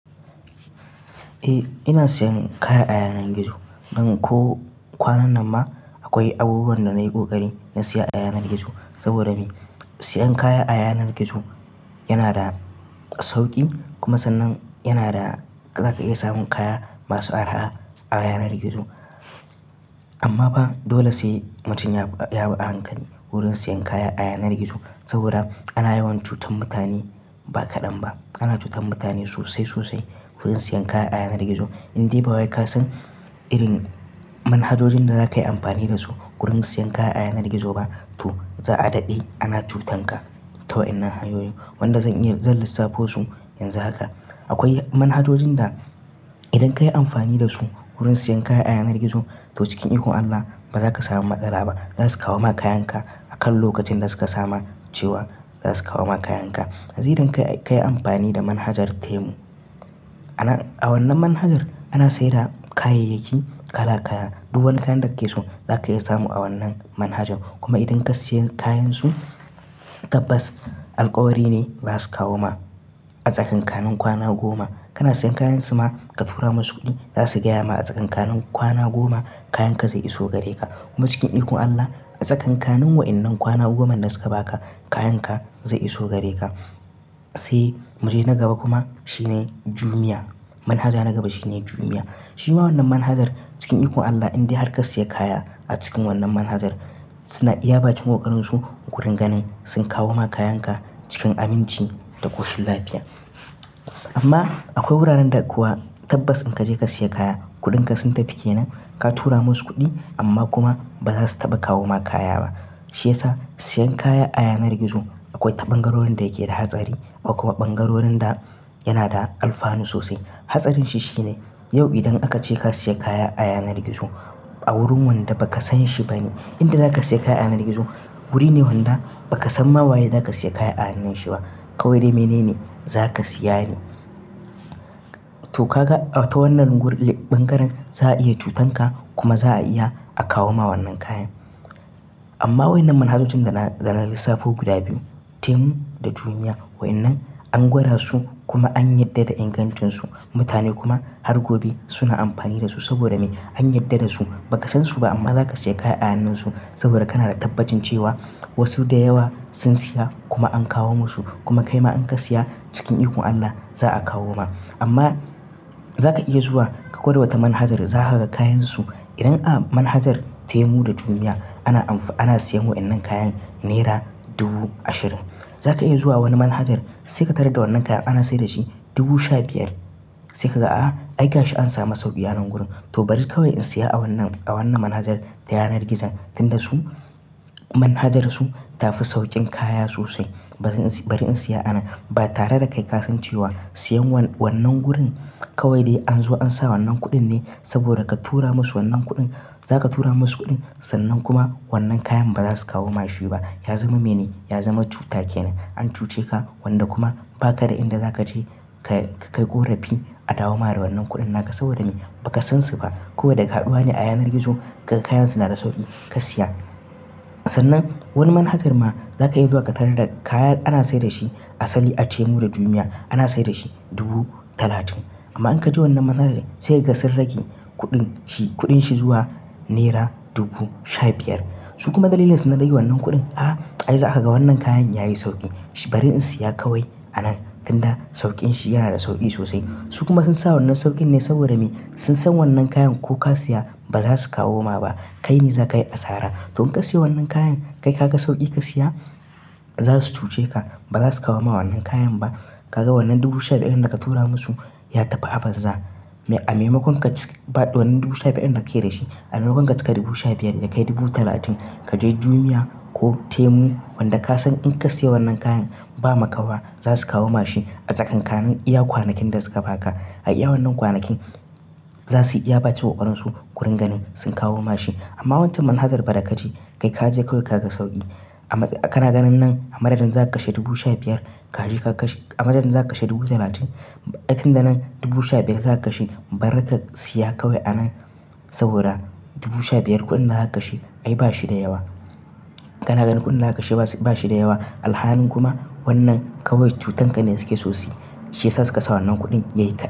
Eh ina sayan kaya a yanar gizo. Nan ko kwanan nan ma akwai abubuwan da na yi kokari na siya a yanar gizo. Saboda me? Siyan kaya a yanar gizo yana da sauki kuma sannan yana da zaka iya samun kaya masu arha a yanar gizo. Amma ba dole sai mutum ya, ya bi a hankali wurin siyan kaya a yanar gizo. Saboda ana yawan cutar mutane ba kadan ba. Ana cutar mutane sosai sosai wurin siyan kaya a yanar gizo. Indai ba wai ka san irin manhajojin da zaka yi amfani da su wurin siyan kaya a yanar gizo ba, to za a daɗe ana cutanka ta waɗannan hanyoyin. Wanda zan iya zan lissafo su yanzu haka. Akwai manhajojin da idan ka yi amfani da su wurin siyan kaya a yanar gizo, to cikin iko Allah ba za ka samu matsala ba. Za su kawo ma kayanka a kan lokacin da suka sama cewa za su kawo ma kayanka. Zai dai kai ka yi amfani da manhajar Temu. Ana-- a wannan manhajar ana sayar da kayayyaki kala kaya. Dubu wani kayan da kake so za ka iya samu a wannan manhajan. Kuma idan ka siya kayansu tabbas alkawari ne ba za su kawo ma a tsakanin kanin kwana goma. Kana siyan kayansu ma ka tura musu kuɗi za su gaya ma a tsakanin kwana goma kayanka zai iso gare ka. Kuma cikin iko Allah a tsakanin wa'annan kwana goma da suka ba ka kayanka zai iso gare ka. Sai mu je na gaba kuma shine Jumia. Manhaja na gaba shine Jumia. Shi ma wannan manhajar cikin iko Allah indai har ka siya kaya a cikin wannan manhajar suna iya bacewa ƙaran su wurin ganin sun kawo ma kayanka cikin aminci da koshin lafiya. Amma akwai wuraren da kuwa tabbas in kaje ka siya kaya kuɗinka sun tafi kenan. Ka tura musu kuɗin amma kuma ba za su taba kawo ma kaya ba. Shi yasa siyan kaya a yanar gizo akwai ɗabangarorin da yake da hatsari kuma ɓangarorin da yana da alfani sosai. Hatsarin shi shine yau idan aka ce ka siya kaya a yanar gizo a wurin wanda baka san shi bane. Inda zaka siya kaya a yanar gizo, wuri ne wanda baka san wa yane za ka siya kaya a hannun shi ba. Kawai mene ne za ka siya ne. To ka ga ta wannan wurin ɓangaren za a iya cutanka kuma za a iya a kawo ma wannan kayan. Amma wa'annan manhajojin da na, da na lissafo guda biyu, Temu da Jumia wa'annan an gwada su kuma an yarda da ingancin su. Mutane kuma har gobe suna amfani da su saboda me? An yarda da su. Baka san su ba amma zaka siya kaya a hannun su saboda kana da tabbacin cewa wasu da yawa sun siya kuma an kawo masu kuma kai ma in ka siya cikin iko Allah za a kawo ma. Amma za ka iya zuwa ka gwada wata manhaja za ka ga kayansu idan a manhajar Temu da Jumia ana amfa-- ana siyan wa'inan kayan naira dubu ashirin. Za ka iya zuwa wani manhajar sai ka tarar da wannan kaya ana sayar da shi dubu sha biyar. Sai ka ga, a ai gashi an samu sauki a wannan wurin. To bari kawai in siya a wannan, a wannan manhajar ta yanar gizo tunda su manhajarsu tafi saukin kaya sosai. Bari in siya a nan. Ba tare da kai ka san cewa siyan wan, wannan wurin kawai dai an zo an sa wannan kuɗin ne saboda ka tura musu wannan kuɗin. Za ka tura musu kuɗin sannan kuma wannan kayan ba za su kawo ma shi ba. Ya zama mene? Ya zama cuta kenan. An cuce ka wanda kuma ba ka da inda za ka je ka, ka yi ƙorafi a dawo ma da wannan kuɗan ka. Saboda me? Baka san su ba. Kowa da kaɗuwa ne a yanar gizo. Kayan su na da sauki ka siya. Sannan wani manhajar ma za ka iya zuwa ka tarar da kayan ana sayar da shi asali a Temu da Jumia ana sayar da shi dubu talatin. Amma in kaje wannan manhajar sai gasan rage kuɗin shi, kuɗin shi zuwa naira dubu sha biyar. Su kuma dalilin da su na rage wannan kuɗin, a ai za ka ga wannan kayan ya yi sauki. Shi bari in siya kawai a nan tunda saukin shi yana da sauki sosai. Su kuma sun sa wannan saukin ne saboda me? Sun san wannan kayan ko ka siya ba za su kawo ma ba. Kai ne za ka yi asara. To in ka siya wannan kayan kai ka ga sauki ka siya, za su cuce ka. Ba za su kawo ma wannan kayan ba. Ka ga wannan dubu sha biyar da ka tura musu ya tafi abasa. A maimakon ka baɗi wannan dubu sha biyar da ka kira shi, a maimakon ka cika dubu sha biyar ka kai dubu talatin, kaje Jumia ko Temu wanda ka san in ka siya wannan kayan ba maka ba za su kawo ma shi a tsakanin iya kwanakin da suka ba ka. A iya wannan kwanakin za su iya bacewa ƙaran su wurin ganin sun kawo ma shi. Amma wancan manhajar ba da kaje. Kai kaje kawai ka ga sauki. Amma kana ganin nan a madadin za ka kashe dubu sha biyar kaje ka kashe, a madadin za ka kashe dubu talatin. Ai tunda nan dubu sha biyar za ka kashe bari ka siya kawai a nan saboda dubu sha biyar kuɗin da za ka kashe ai bashi da yawa. Kana ganin kuɗin da za ka kashe ba shi, ba shi da yawa. Alhanin kuma wannan kawai cutanka ne da suke sosai. Shi yasa su ka sa wannan kuɗin yayi ƙasa.